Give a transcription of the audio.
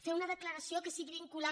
fer una decla·ració que sigui vinculant